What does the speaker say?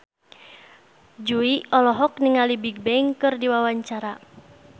Jui olohok ningali Bigbang keur diwawancara